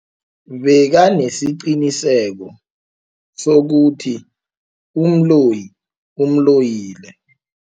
Bekanesiqiniseko sokuthi umloyi umloyile.